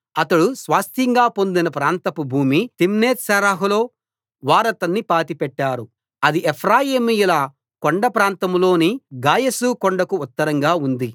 అతడు స్వాస్థ్యంగా పొందిన ప్రాంతపు భూమి తిమ్నత్సెరహులో వారతన్ని పాతిపెట్టారు అది ఎఫ్రాయిమీయుల కొండప్రాంతంలోని గాయషు కొండకు ఉత్తరంగా ఉంది